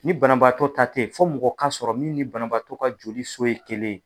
Ni banabaatɔ ta te yen , fo mɔgɔw ka sɔrɔ min ni banabaatɔ ka joli so ye kelen ye.